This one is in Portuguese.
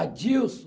Adilson.